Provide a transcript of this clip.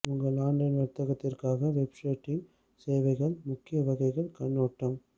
உங்கள் ஆன்லைன் வணிகத்திற்கான web hosting சேவைகள் முக்கிய வகைகள் கண்ணோட்டம்